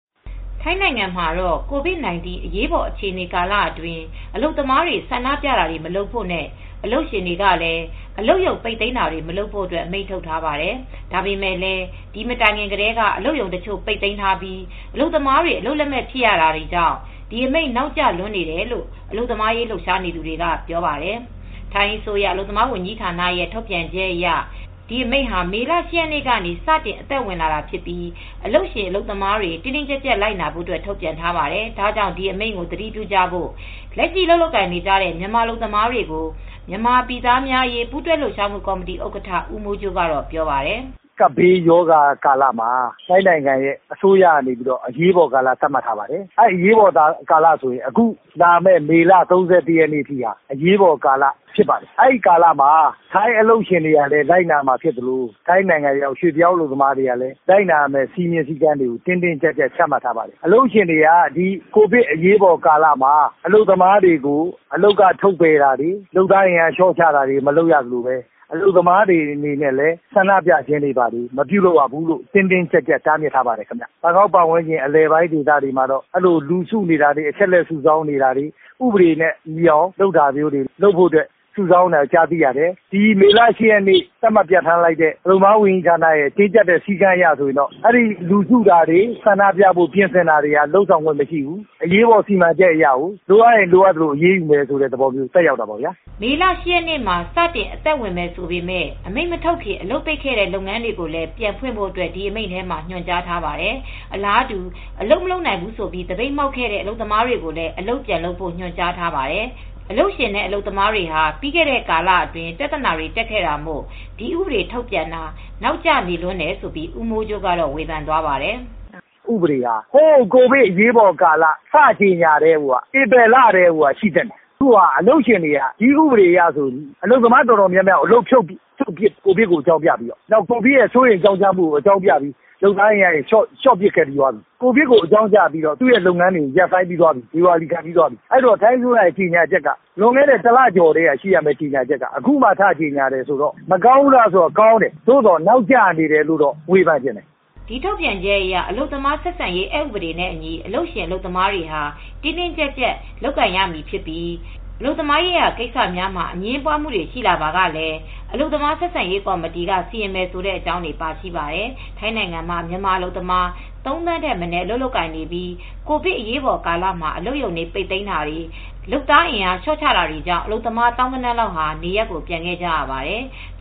ထိုင်းနိုင်ငံမှာတော့ COVID-19 အရေးပေါ်အခြေအနေကာလအတွင်း အလုပ်သမားတွေ ဆန္ဒပြတာမလုပ်ဖို့နဲ့ အလုပ်ရှင်တွေကလည်း အလုပ်ရုံပိတ်သိမ်းတာတွေ မလုပ်ဖို့ အမိန့်ထုတ်ပါတယ်။ ဒါပေမဲ့လည်း ဒီမတိုင်ခင်ကတည်းက အလုပ်ရုံတချို့ ပိတ်သိမ်းတာပြီး မြန်မာအလုပ်သမားတွေ အလုပ်လက်မဲ့ဖြစ်ရတာကြောင့် ဒီအမိန့်နောက်ကျလွန်းနေတယ်လို့ အလုပ်သမားရေး လှုပ်ရှားသူတွေက ပြောပါတယ်။ ဒီအကြောင်း ဗွီအိုအေ မြန်မာပိုင်းသတင်းထောက် မအေးအေးမာက တင်ပြပေးပါမယ်။ ထိုင်းအစိုးရအလုပ်သမားဝန်ကြီးဌာနရဲ့ ထုတ်ပြန်ချက်အရ ဒီအမိန့်ဟာမေလ ၈ ရက်နေ့ကနေ စတင်အသက်ဝင်တာပြီး အလုပ်ရှင်အလုပ်သမားတွေ တင်းတင်းကြပ်ကြပ်လိုက်နာဖို့ ထုတ်ပြန်ထားပါတယ်။ ဒါကြောင့် ဒီအမိန့်ကို သတိပြုကြဖို့ လက်ရှိ အလုပ်လုပ်ကိုင်နေကြတဲ့ မြန်မာအလုပ်သမားတွေကို မြန်မာပြည်သားများ အရေးပူးတွဲလှုပ်ရှားမှုကော်မတီဥက္ကဋ္ဌ ဦးမိုးကြိုးကတော့ ပြောပါတယ်။ "ကပ်ဘေးကာလမှာ ထိုင်းနိုင်ငံအစိုးရက အရေးပေါ်ကာလ သတ်မှတ်ထားပါတယ်။ အရေးပေါ်ကာလက မေလ ၃၁ ရက်နေ့ထိက အရေးပေါ်ကာလ ဖြစ်ပါတယ်။ အဲဒီကာလမှာထိုင်းအလုပ်ရှင်တွေကလည်း ထိုင်းရောက် ရွေ့ပြောင်းအလုပ်သမားတွေပါ။ လိုက်နာဖို့အတွက် တိတိကျကျ လိုက်နာဖို့ စည်းမျဉ်းစည်းကမ်းတွေကို ထုတ်ထားပါတယ်။ အလုပ်ရှင်တွေကလည်း လုပ်သားအင်အားလျှော့ချတာ လုပ်သားတွေ ထုတ်ပစ်တာ မလုပ်ရသလို အလုပ်သားတွေကလည်း ဆန္ဒပြတာတွေ မလုပ်ရဘူးလို့ တင်းတင်းကြပ်ကြပ်တားမြစ်ထားပါတယ်။ ဘန်ကောက်နဲ့ အနီးတဝိုက်မှာတော့ ဆန္ဒပြဖို့ လူစုတာတွေ၊ အချက်အလက်စုတာတွေ ဥပဒေနဲ့ ညီအောင်လုပ်တာတွေ စုဆောင်းမှုတွေ လုပ်နေကြတယ်။ မေလ ၈ ရက်ထုတ်ပြန်ထားတဲ့ တင်းကြပ်တဲ့ စည်းကမ်းအရဆို လူစုတာတွေ ဆန္ဒပြဖို့ ပြင်ဆင်တာတွေ လုပ်ခွင့်မရှိဘူး။ အရေးပေါ်စီမံချက်အရ လိုအပ်ရင်လိုအပ်သလို အရေးယူမယ်ဆိုတာမျိုးကို ဥပဒေက သက်ရောက်မှု ရှိတယ်။" ဒီအမိန့်ဟာ မေ ၈ ရက်မှာ စတင်အသက်ဝင်မယ်ဆိုပေမယ့် အမိန့် မထုတ်ခင် အလုပ်ပိတ်ခဲ့သည့် လုပ်ငန်းတွေကိုလည်း ပြန်ဖွင့်ဖို့ ဒီအမိန့်ထဲမှာ ညွှန်ကြားထားပါတယ်။ အလားတူ အလုပ်မလုပ်နိုင်ဘူးဆိုပြီး သပိတ်မှောက်ခဲ့တဲ့ အလုပ်သမားတွေကိုလည်း အလုပ်ပြန်လုပ်ဖို့ ညွှန်ကြားထားပါတယ်။ အလုပ်ရှင်အလုပ်သမားတွေဟာ ပြီးခဲ့တဲ့ကာလအတွင်း ပြဿနာတွေ တက်ခဲ့တာမို့ ဒီဥပဒေထုတ်ပြန်တာ နောက်ကျနေလွန်းတယ်လို့ ဦးမိုးကြိုးကတော့ ဝေဖန်သွားပါတယ်။ "ဒီဥပဒေက ကိုဗစ်အရေးပေါ်ကာလ ထုတ်ပြန်ခဲ့တဲ့ ဧပြီလကတည်းက ထုတ်ပြန်သင့်တာအခုဟာက အလုပ်ရှင်တွေက ဒီဥပဒေအရဆို အလုပ်သမားတွေ အတော်များများကို အလုပ်ဖြုတ်ပစ်ပြီးသွားပြီ။ ကိုဗစ်ကိုအကြောင်းပြပြီး ဖြုတ်ပြီးသွားပြီ။ ကိုဗစ်ကိုအကြောင်းပြပြီး သူရဲ့ လုပ်ငန်းတွေကို ရပ်ဆိုင်းပြီးသွားပြီ။ ဒေဝါလီခံသွားပြီးပြီ။ ထိုင်းအစိုးရရဲ့ ကြေညာချက်က မကောင်းဘူးလားဆိုတော့ ကောင်းတယ်။ ဒါပေမဲ့ နောက်ကျနေလွန်းတယ်လို့တော့ ဝေဖန်ချင်တယ်။" ဒီထုတ်ပြန်ချက်အရ အလုပ်သမားဆက်ဆံရေး အက်ဥပဒေနဲ့ အညီ အလုပ်ရှင်၊ အလုပ်သမား တင်းတင်းကြပ်ကြပ် လုပ်ကိုင်ရမည်ဖြစ်ပြီး အလုပ်သမားရေးရာကိစ္စများမှာ အငြင်းပွားမှုများ ရှိလာပါက အလုပ်သမားဆက်ဆံရေးကော်မတီက စီရင်မယ်ဆိုတဲ့အကြောင်းတွေ ပါရှိပါတယ်။ ထိုင်းနိုင်ငံမှာ မြန်မာအလုပ်သမား ၃,၀၀၀,၀၀၀ ထက်မနည်း အလုပ်လုပ်ကိုင်နေပြီး ကိုဗစ်အရေးပေါ်ကာလမှာ အလုပ်ရုံတွေ ပိတ်သိမ်းတာတွေ လုပ်သားအင်အားလျှော့ချတာတွေကြောင့် အလုပ်သမား သောင်းဂဏန်းလောက်ဟာ နေရပ်ကိုပြန်ခဲ့ကြရပါတယ်။